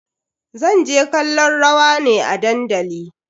Zan je kallon rawa ne a dandali.